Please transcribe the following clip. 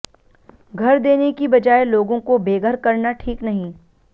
घर देने की बजाए लोगों को बेघर करना ठीक नहीं